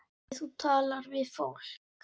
Hvernig þú talar við fólk.